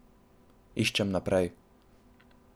Iščem naprej.